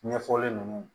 Ɲɛfɔli nunnu